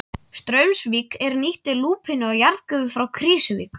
Straumsvík er nýtti lúpínu og jarðgufu frá Krýsuvík.